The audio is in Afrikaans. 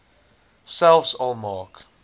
selfs al maak